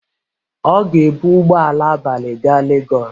Ọ ga-ebu ụgbọ ala abalị gaa lagọs.